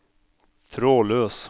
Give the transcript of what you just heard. trådløs